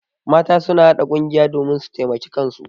Mata suna haɗa ƙungiya domin su taimaki kansu.